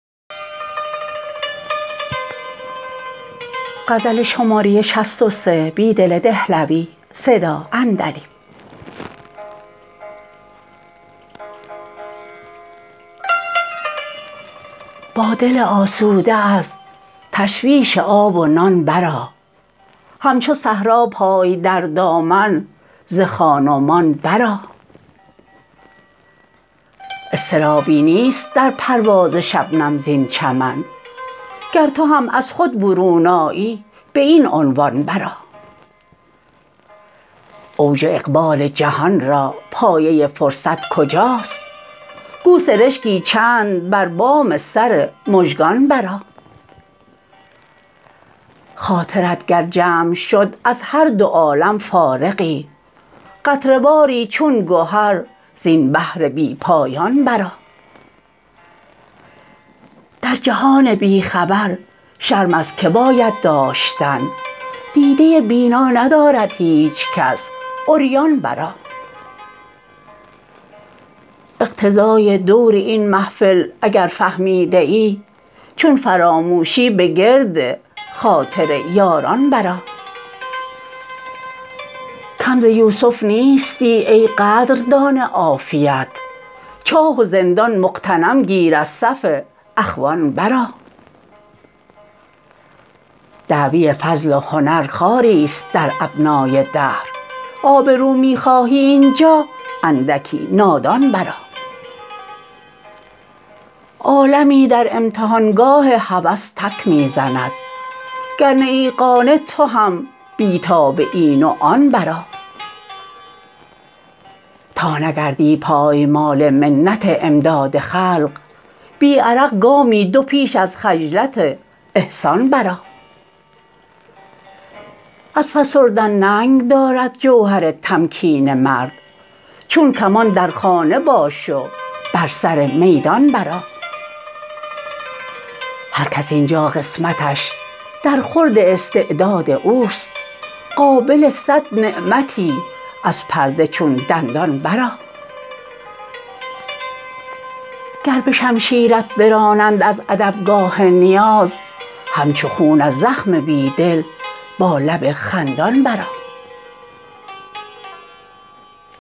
با دل آسوده از تشویش آب و نان برآ همچو صحرا پای در دامن ز خان ومان برآ اضطرابی نیست در پرواز شبنم زین چمن گر تو هم از خود برون آیی به این عنوان برآ اوج اقبال جهان را پایه فرصت کجاست گو سرشکی چند بر بام سر مژگان برآ خاطرت گر جمع شد از هر دو عالم فارغی قطره واری چون گهر زین بحر بی پایان برآ در جهان بی خبر شرم از که باید داشتن دیده بینا ندارد هیچکس عریان برآ اقتضای دور این محفل اگر فهمیده ای چون فراموشی به گرد خاطر یاران برآ کم ز یوسف نیستی ای قدردان عافیت چاه و زندان مغتنم گیر از صف اخوان برآ دعوی فضل و هنر خواریست در ابنای دهر آبرو می خواهی اینجا اندکی نادان برآ عالمی در امتحانگاه هوس تک می زند گر نه ای قانع تو هم بیتاب این و آن برآ تا نگردی پایمال منت امداد خلق بی عرق گامی دو پیش از خجلت احسان برآ از فسردن ننگ دارد جوهر تمکین مرد چون کمان در خانه باش و بر سر میدان برآ هر کس اینجا قسمتش در خورد استعداد اوست قابل صد نعمتی از پرده چون دندان برآ گر به شمشیرت برانند از ادبگاه نیاز همچو خون از زخم بیدل با لب خندان برآ